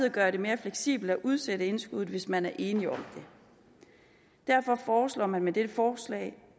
at gøre det mere fleksibelt at udsætte indskuddet hvis man er enige om det derfor foreslår man med dette forslag